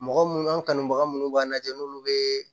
Mɔgɔ munnu an kanubaga munnu b'a lajɛ n'olu be